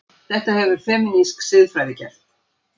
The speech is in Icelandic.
Þetta hefur femínísk siðfræði gert.